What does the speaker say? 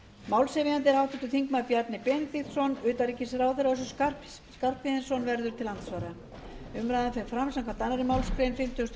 málshefjandi er háttvirtur þingmaður bjarni benediktsson utanríkisráðherra össur skarphéðinsson verður til andsvara umræðan fer fram samkvæmt annarri málsgrein fimmtugustu